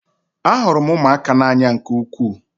Ahụrụ m ụmụaka n'anya nke ukwuu